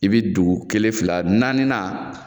I bi dugu kelen fila naani na,